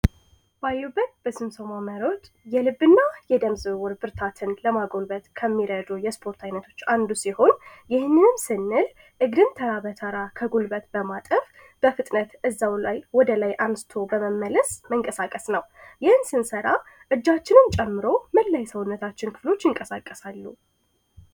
ባዩበት በስንሶማ መሮጥ የልብ እና የደም ዝውውር ብርታትን ለማጎልበት ከሚረዶ የስፖርት አይነቶች አንዱ ሲሆን ይህንንን ስንል እግርን ተራ በተራ ከጉልበት በማጠፍ በፍጥነት እዛው ላይ ወደ ላይ አምስቶ በመመለስ መንቀሳቀስ ነው ይህን ስንሰራ እጃችንም ጨምሮ ምን ላይ ሰውነታችን ክፍሎች ይንቀሳቀሳሉ።